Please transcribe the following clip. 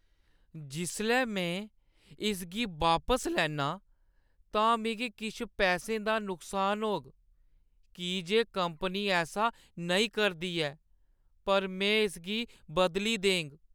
जिसलै में इसगी बापस लैन्नां तां मिगी किश पैसें दा नुकसान होग की जे कंपनी ऐसा नेईं करदी ऐ, पर में इसगी बदली देङ।